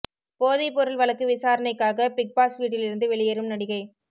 போதைப் பொருள் வழக்கு விசாரணைக்காக பிக் பாஸ் வீட்டில் இருந்து வெளியேறும் நடிகை